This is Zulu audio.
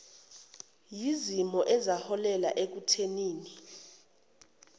yezimo ezaholela ekuthenini